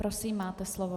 Prosím, máte slovo.